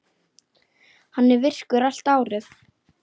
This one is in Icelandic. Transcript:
Hann er virkur allt árið.